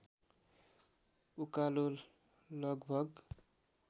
उकालो लगभग